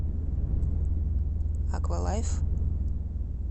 аква лайф